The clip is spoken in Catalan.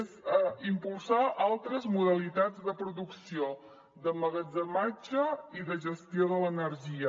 és impulsar altres modalitats de producció d’emmagatzematge i de gestió de l’energia